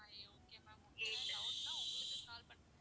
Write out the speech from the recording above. okay ma'am doubt நா உங்களுக்கு call பண்றேன்